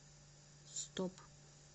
стоп